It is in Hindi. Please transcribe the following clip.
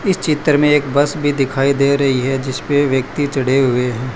इस चित्र में एक बस भी दिखाई दे रही है जिसपे व्यक्ति चढ़े हुए हैं।